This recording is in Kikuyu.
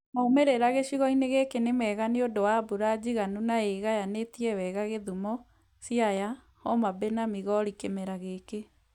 Maumĩrĩra gĩcigo-inĩ gĩkĩ nĩ mega nĩũndũ wa mbura njiganu na ĩĩgayanĩtie wega Kisumu, Siaya, Homabay na Migori kĩmera gĩkĩ